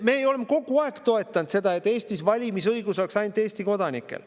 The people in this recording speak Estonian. Me oleme kogu aeg toetanud seda, et Eestis oleks valimisõigus ainult Eesti kodanikel.